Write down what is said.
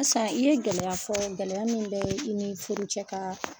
Asan i ye gɛlɛya fɔ gɛlɛya min bɛ i ni furucɛ ka